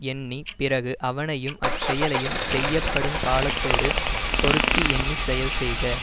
எண்ணி பிறகு அவனையும் அச்செயலையும் செய்யப்படும் காலத்தோடு பொருத்தி எண்ணி செயல் செய்க